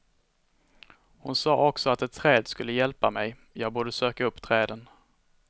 Hon sa också att ett träd skulle hjälpa mig, jag borde söka upp träden.